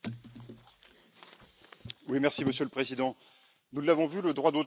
Monsieur le Président, nous l'avons vu, le droit d'auteur est un sujet qui déchaîne les passions.